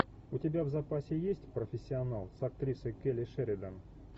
у тебя в запасе есть профессионал с актрисой келли шеридан